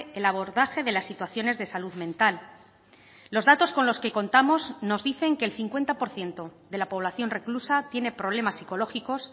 el abordaje de las situaciones de salud mental los datos con los que contamos nos dicen que el cincuenta por ciento de la población reclusa tiene problemas psicológicos